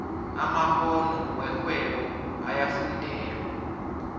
amakgono werhwebo ayafundelwa